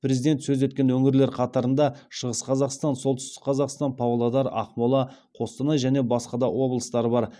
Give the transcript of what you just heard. президент сөз еткен өңірлер қатарында шығыс қазақстан солтүстік қазақстан павлодар ақмола қостанай және басқа да облыстар бар